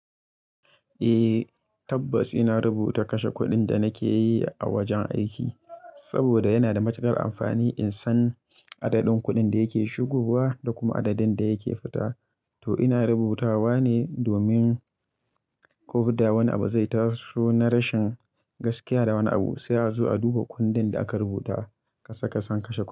Eh tabbas ina rubuta kashe kuɗin da nake yi a wajen aiki saboda yana da matuƙar amfani in san adadin kudin da yake shigowa da kuma adadin da yake fita. To ina rubutawa ne domin ko da wani abu zai taso na rashin gaskiya da wani abu sai a zo a duba kundin da aka rubuta kasa-kasan kashe kuɗi.